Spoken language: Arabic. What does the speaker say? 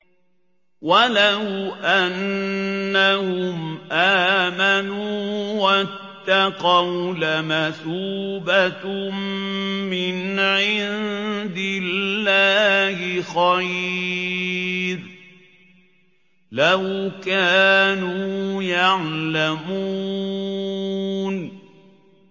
وَلَوْ أَنَّهُمْ آمَنُوا وَاتَّقَوْا لَمَثُوبَةٌ مِّنْ عِندِ اللَّهِ خَيْرٌ ۖ لَّوْ كَانُوا يَعْلَمُونَ